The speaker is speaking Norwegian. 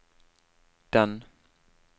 den